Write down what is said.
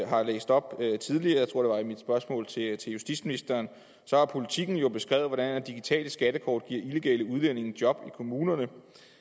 har læst op tidligere jeg tror det var i mit spørgsmål til justitsministeren har politiken jo beskrevet hvordan digitale skattekort giver illegale udlændinge job i kommunerne